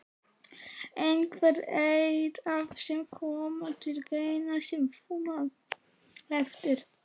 Einhverjir aðrir sem koma til greina sem þú manst eftir?